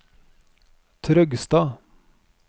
Trøgstad